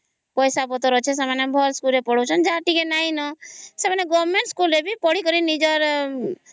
ଯାହାର ଟିକେ ପଇସା ପତ୍ର ଅଛି ଭଲ ସ୍କୁଲ ରେ ପଢ଼ୁ ଛନ ଯାହାର ଟିକେ ନାହିଁ ନ ସେମାନେ ଗୋରମେଣ୍ଟ ବି ପଢିକରି ନିଜର